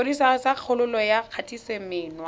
sepodisi sa kgololo ya kgatisomenwa